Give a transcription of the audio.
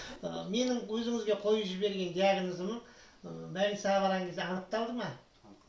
ыыы менің өзіңізге қойып жіберген диагнозым ыыы больницаға барған кезде анықталды ма анықталды